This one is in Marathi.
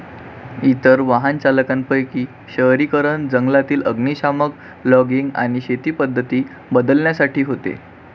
इतर वाहनचालकांपैकी शहरीकरण, जंगलातील अग्निशामक, लॉगिंग आणि शेती पद्धती बदलण्यासाठी होते.